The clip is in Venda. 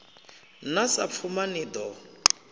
na sa pfuma ni ḓo